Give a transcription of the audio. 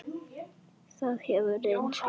Það hefur reynst vel.